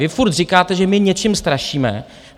Vy furt říkáte, že my něčím strašíme.